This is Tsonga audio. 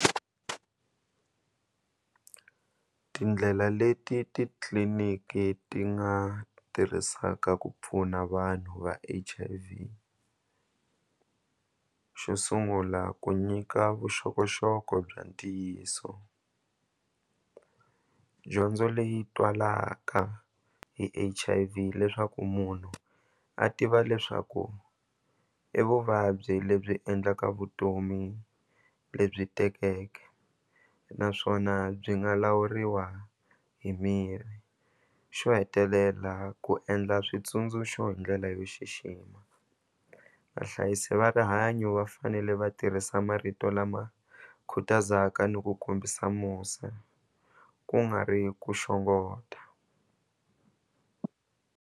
Tindlela leti titliliniki ti nga tirhisaka ku pfuna vanhu va H_I_V xo sungula ku nyika vuxokoxoko bya ntiyiso dyondzo leyi twalaka hi H_I_V leswaku munhu a tiva leswaku i vuvabyi lebyi endlaka vutomi lebyi tekeke naswona byi nga lawuriwa hi mirhi xo hetelela ku endla switsundzuxo hi ndlela yo xixima vahlayisi va rihanyo va fanele va tirhisa marito lama khutazaka ni ku kombisa musa ku nga ri ku .